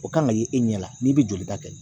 O kan ka ye e ɲɛ la n'i bɛ joli ta kɛ